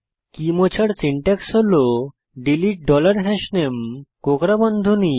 কী মোছার সিনট্যাক্স হল delete dollar হাশনামে কোঁকড়া বন্ধনী